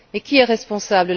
Et qui est responsable?